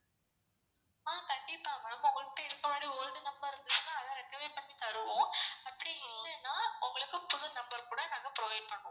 ஆஹ் கண்டிப்பா ma'am உங்கள்ட்ட இருக்குறமாறி old number இருந்துச்சுனா அத recover பண்ணி தருவோம் அப்படி இல்லனா உங்களுக்கு புது number கூட நாங்க provide பண்ணுவோம்.